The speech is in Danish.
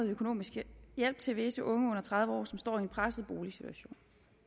økonomisk hjælp til visse unge under tredive år som står i en presset boligsituation